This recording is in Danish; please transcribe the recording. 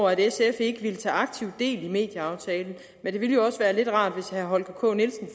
at sf ikke ville tage aktivt del i medieaftalen men det ville jo også være lidt rart hvis herre holger k nielsen